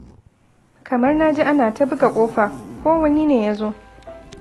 Kamar na ji ana ta buga ƙofa. Ko wani ne ya zo?